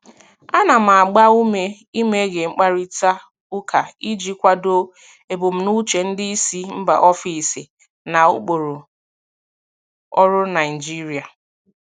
Ana m agba ume imeghe mkparịta ụka iji kwado ebumnuche ndị isi mba ofesi na ụkpụrụ ọrụ Naijiria.